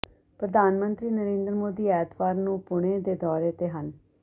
ਪ੍ਰਧਾਨ ਮੰਤਰੀ ਨਰਿੰਦਰ ਮੋਦੀ ਐਤਵਾਰ ਨੂੰ ਪੁਣੇ ਦੇ ਦੌਰੇ ਤੇ ਹਨ